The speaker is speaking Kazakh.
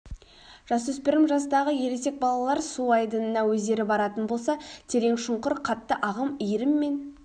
жасөсіпір жастағы ересек балалар су айдынына өздері баратын болса терең шұңқыр қатты ағым иірім мен